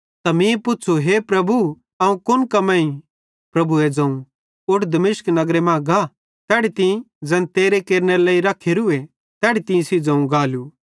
त मीं पुच़्छ़ू हे प्रभु अवं कुन कम्मेईं प्रभुए ज़ोवं उठ दमिश्क नगरे मां गा तैड़ी तीं ज़ैन तेरे केरनेरे लेइ रखेरुए तैड़ी तीं सेइं ज़ोवं गालू